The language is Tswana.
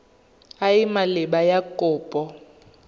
e e maleba ya kopo